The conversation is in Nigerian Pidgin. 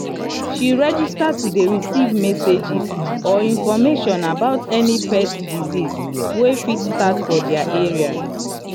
she register to dey receive messages or information about any pet disease wey fit just start for their area.